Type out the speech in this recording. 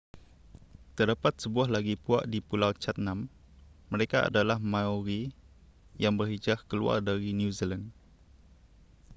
terdapat sebuah lagi puak di pulau chatham mereka adalah maori yang berhijrah keluar dari new zealand